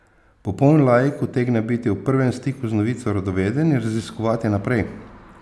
Popoln laik utegne biti ob prvem stiku z novico radoveden in raziskovati naprej.